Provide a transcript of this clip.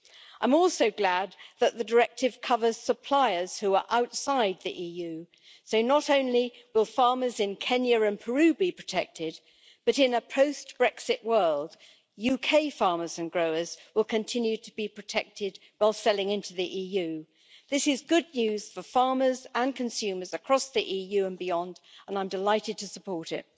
I am also glad that the directive covers suppliers who are outside the EU, so not only will farmers in Kenya and Peru be protected, but in a post Brexit world, UK farmers and growers will continue to be protected while selling into the EU. This is good news for farmers and consumers across the EU and beyond, and I am delighted to support it.